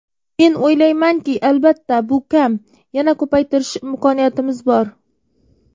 Men o‘ylaymanki, albatta, bu kam yana ko‘paytirish imkoniyatimiz bor.